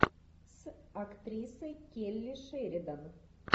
с актрисой келли шеридан